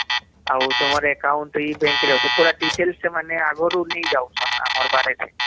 ଆଉ ତୁମର account ଏଇ bank ରେ ଅଛେ ପୁରା details ସେମାନେ ଆଗରୁ ନେଇ ଯାଉଛନ ଆମର